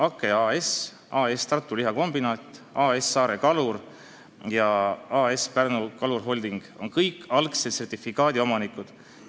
Akke AS, AS Tartu Lihakombinaat, AS Saare Kalur ja AS Pärnu Kalur Holding on kõik algse sertifikaadi omanikud.